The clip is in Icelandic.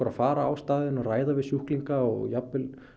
að fara á staðinn og ræða við sjúklinga og jafnvel